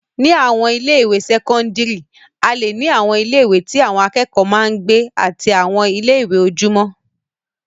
Ni àwọn ilé-ìwé sẹ́kọ́ńdírì, a leè ní àwọn ilé-ìwé tí àwọn akẹ́kọ̀ọ́ máa ń gbé àti àwọn ilé-ìwé ojúmọ́.